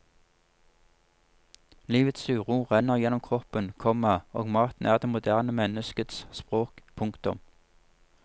Livets uro renner gjennom kroppen, komma og maten er det moderne menneskets språk. punktum